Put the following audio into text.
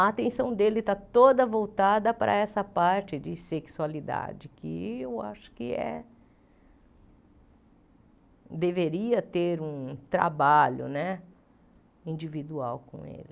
A atenção dele está toda voltada para essa parte de sexualidade, que eu acho que é deveria ter um trabalho né individual com ele.